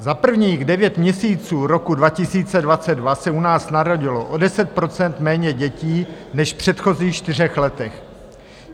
Za prvních devět měsíců roku 2022 se u nás narodilo o 10 % méně dětí než v předchozích čtyřech letech.